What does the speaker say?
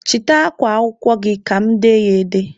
Chịta akwa akwụkwọ gị ka mụ dee ya ede!